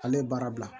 Ale ye baara bila